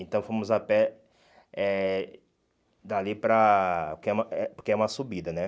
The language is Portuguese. Então fomos a pé eh dali para... que uma eh porque é uma subida, né?